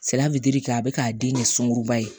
Senna fitiri k'a bɛ k'a den de sunguruba ye